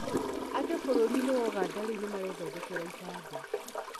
Andũ bũrũri-inĩ wa Uganda rĩu nĩ marethondekera ibandĩ.